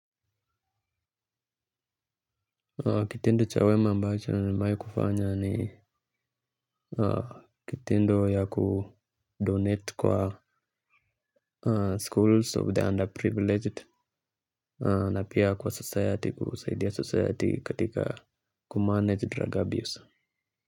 Kitendo chawema ambacho ni mai kufanya ni kitendo ya kudonate kwa schools of the underprivileged na pia kwa society kusaidia society katika kumanage drug abuse.